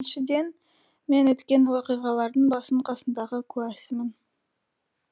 біріншіден мен өткен уақиғалардың басы қасындағы куәсімін